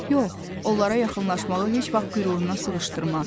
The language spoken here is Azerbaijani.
Yox, onlara yaxınlaşmağı heç vaxt qüruruna sığışdırmaz.